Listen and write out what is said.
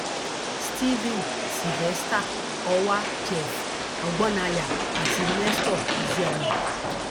stephen sylvester ọwà jeff ọgbónáyà àti nestor ezeani